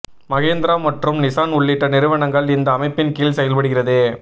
மஹிந்திரா மற்றும் நிசான் உள்ளிட்ட நிறுவனங்கள் இந்த அமைப்பின் கீழ் செயல்படுகிறது